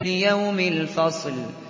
لِيَوْمِ الْفَصْلِ